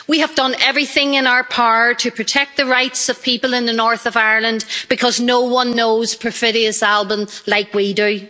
We have done everything in our power to protect the rights of people in the north of Ireland, because no one knows perfidious Albion like we do.